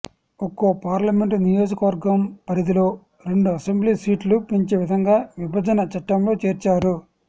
ఒక్కో పార్లమెంటు నియోజకవర్గం పరిధిలో రెండు అసెంబ్లీ సీట్లు పెంచే విధంగా విభజన చట్టంలో చేర్చారు